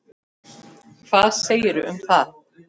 Hvað segirðu um það?